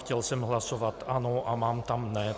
Chtěl jsem hlasovat ano, a mám tam ne.